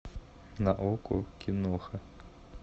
на окко киноха